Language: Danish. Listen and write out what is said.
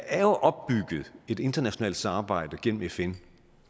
er opbygget et internationalt samarbejde igennem fn